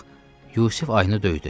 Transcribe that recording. Bax, Yusif ayını döydü.